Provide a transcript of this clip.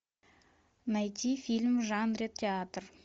найти фильм в жанре театр